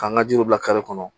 K'an ka jiriw bila kare kɔnɔ